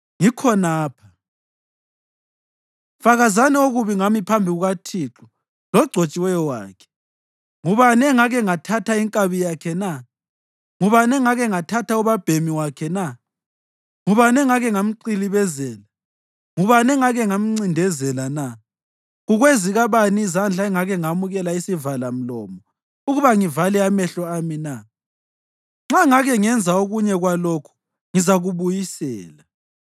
Ngikhonapha. Fakazani okubi ngami phambi kukaThixo logcotshiweyo wakhe. Ngubani engake ngathatha inkabi yakhe na? Ngubani engake ngathatha ubabhemi wakhe na? Ngubani engake ngamqilibezela? Ngubani engake ngamncindezela na? Kukwezikabani izandla engake ngamukela isivalamlomo ukuba ngivale amehlo ami na? Nxa ngake ngenza okunye kwalokhu, ngizakubuyisela.”